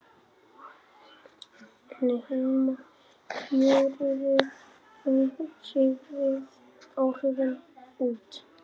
en heima fjöruðu áhrifin út.